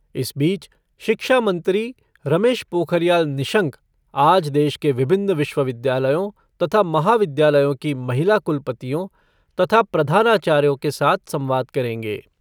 इस बीच शिक्षा मंत्री रमेश पोखरियाल निंशक आज देश के विभिन्न विश्वविद्यालयों तथा महाविद्यालयों की महिला कुलपतियों तथा प्रधानाचार्यों के साथ संवाद करेंगे।